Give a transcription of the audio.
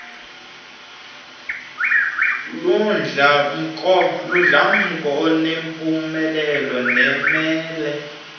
ludlamko enempumelelo nemele